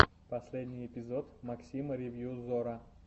последний эпизод максима ревью зора